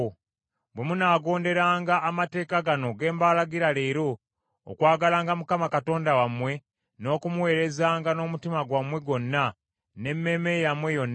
Bwe munaagonderanga amateeka gano ge mbalagira leero: okwagalanga Mukama Katonda wammwe, n’okumuweerezanga n’omutima gwammwe gwonna, n’emmeeme yammwe yonna,